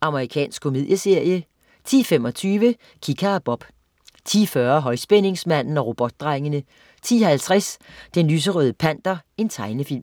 Amerikansk komedieserie 10.25 Kika og Bob 10.40 Højspændingsmanden og Robotdrengene 10.50 Den lyserøde Panter. Tegnefilm